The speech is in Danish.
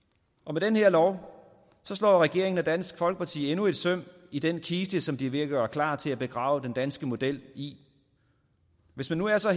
med den her lov slår regeringen og dansk folkeparti endnu et søm i den kiste som de er ved at gøre klar til at begrave den danske model i hvis man nu er så